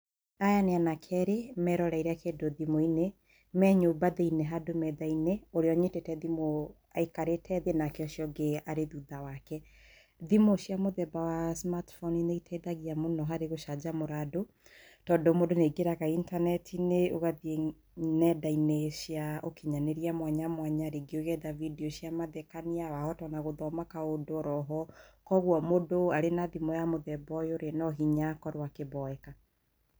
Aya nĩ anake erĩ meroreire kĩndũ thimũ-inĩ, me nyũmba thĩiniĩ handũ metha-inĩ. Ũrĩa ũnyitĩte thimũ aikarĩte thĩ nake ũcio ũngĩ arĩ thutha wake. Thimũ cia mũthemba wa smart phone nĩiteithagia mũno harĩ gũcanjamũra andũ tondũ mũndũ nĩaingĩraga intaneti-inĩ, ũgathiĩ nenda-inĩ cia ũkinyanĩria mwanya mwanya, rĩngĩ ũgetha video cia mathekania, wahota ona gũthoma kaũndũ oro oho, kwoguo mũndũ arĩ na thimũ ya mũthemba ũyũrĩ, no hinya akorwo akĩmboeka.